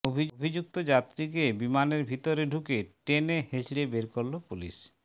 অভিযুক্ত যাত্রীকে বিমানের ভিতরে ঢুকে টেনে হিঁচড়ে বের করল পুলিশ